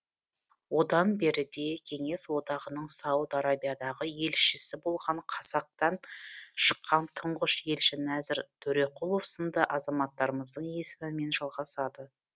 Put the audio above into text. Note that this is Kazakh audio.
одан беріде кеңес одағының сауд арабиядағы елшісі болған қазақтан шыққан тұңғыш елші нәзір төреқұлов сынды азаматтарымыздың есімімен жалғасады